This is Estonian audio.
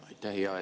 Aitäh!